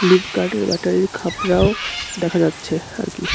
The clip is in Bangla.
লিভ গার্ডের ব্যাটারির খাপড়াও দেখা যাচ্ছে আর কি.